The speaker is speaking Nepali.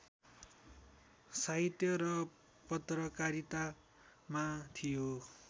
साहित्य र पत्रकारितामा थियो